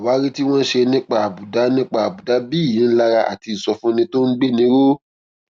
àwárí tí wón ṣe nípa àbùdá nípa àbùdá bí ìyínilára àti ìsọfúnni tó ń gbéni ró